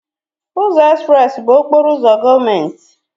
Ụzọ Express bụ okporo ụzọ gọọmenti.